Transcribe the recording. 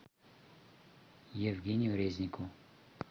евгению резнику